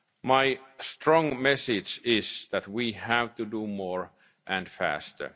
sinks will be increased. My strong message is that we